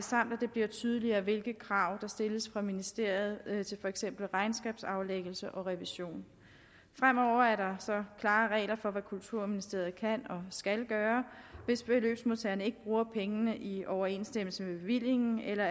det bliver tydeligere hvilke krav der stilles fra ministeriet til for eksempel regnskabsaflæggelse og revision fremover er der klare regler for hvad kulturministeriet kan og skal gøre hvis beløbsmodtagerne ikke bruger pengene i overensstemmelse med bevillingen eller